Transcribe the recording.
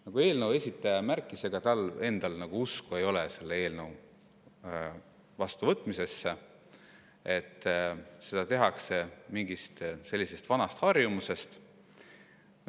Nagu eelnõu esitaja märkis, ega tal endal ei ole usku selle eelnõu vastuvõtmisesse, seda mingist vanast harjumusest.